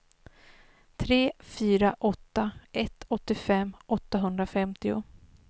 tre fyra åtta ett åttiofem åttahundrafemtio